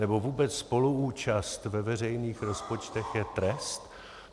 Nebo vůbec spoluúčast ve veřejných rozpočtech je trest?